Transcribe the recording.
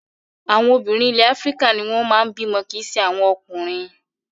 Àwọn obìnrin ilẹ̀ Áfíríkà ni wọ́n máa ń bímọ kì í ṣe àwọn ọkùnrin.